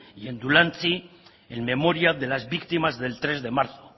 y en dulantzi en memoria de las víctimas del tres de marzo